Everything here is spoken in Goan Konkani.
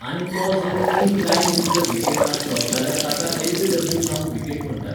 आनी तो जर इन लायन विथ द विकेटआसलो जाल्यार ताका एल बी डब्ल्यू जावन विकेट म्हणटात